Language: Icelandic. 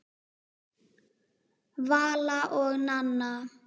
Vala og Nanna.